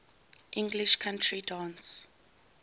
english country dance